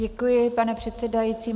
Děkuji, pane předsedající.